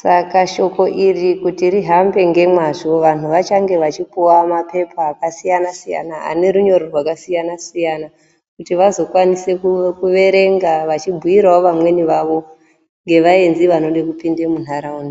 saka shoko iri kuti rihambe ngemazvo vanhu achange achipuwa mapepa akasiyanasiyana anerunyoro rwakasiyanasiyana kuti vazokwanise kuerenga vachibhuyirawo vamweni vavo ngevaenzi vanode kupinde munharaunda.